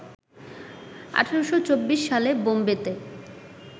১৮২৪ সালে বোম্বেতে